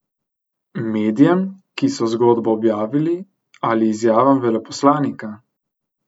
Medijem, ki so zgodbo objavili, ali izjavam veleposlanika?